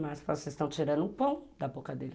Mas vocês estão tirando o pão da boca dele.